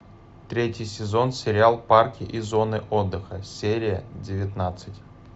третий сезон сериал парки и зоны отдыха серия девятнадцать